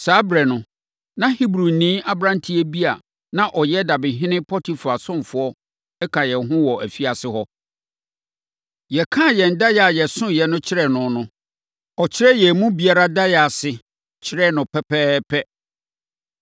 Saa ɛberɛ no, na Hebrini aberantewaa bi a na ɔyɛ dabehene Potifar ɔsomfoɔ ka yɛn ho wɔ afiase hɔ. Yɛkaa yɛn daeɛ a yɛsosoeɛ no kyerɛɛ no no, ɔkyerɛɛ yɛn mu biara daeɛ ase, kyerɛɛ no pɛpɛɛpɛ.